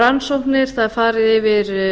rannsóknir það er farið yfir